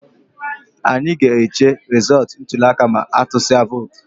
Anyị ga-eche resọọtu ntụliaka ma a tusịa vootu